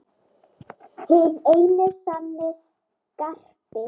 Hinn eini sanni Skarpi!